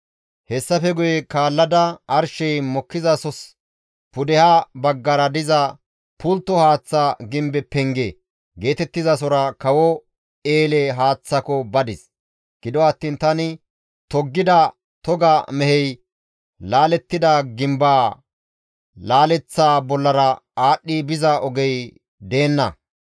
Hessafe guye kaallada arshey mokkizasos pudeha baggara diza, «Pultto haaththa gimbe penge» geetettizasora kawo eele haaththako badis; gido attiin tani toggida toga mehey laalettida gimbaa laaleththa bollara aadhdhi biza ogey deenna.